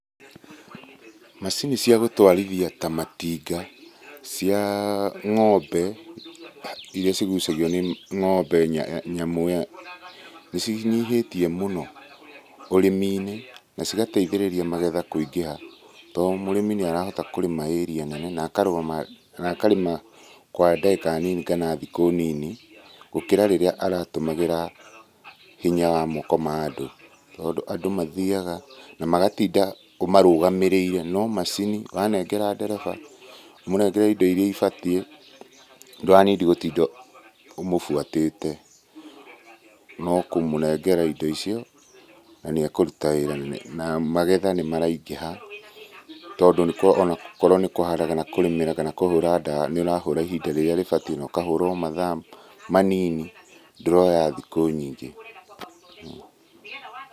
Macini cia gũtwarithia ta matinga cia ng'ombe iria cigũcagio nĩ ng'ombe, nĩ cinyihĩtie mũno ũrĩmi-inĩ na cigateithĩrĩria magetha kũingĩha tondũ mũrĩmi nĩ arahota kũrĩma area nene na akarĩma kwa ndagĩka nini kana thikũ nini, gũkĩra rĩrĩa aratũmagĩra moko ma andũ. Tondũ andũ mathiaga na magatinda ũmarũgamĩrĩire no macini wanengera ndereba ũmũnengere indo iria ibatiĩ, ndũranindi gũtinda ũmũbuatĩte. No kũmũnengera indo icio na nĩ ekũruta wĩra na magetha nĩ maraingiha tondũ ona gũkorwo nĩ kũharĩrĩria kũrĩmĩra kana kũhũra ndawa. Nĩ ũrahũra ihinda rĩrĩa rĩbatiĩ na ũkahũra mathaa manini ndũroya thikũ nyingĩ.